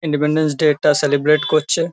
Independence day -টা celebrate করছে।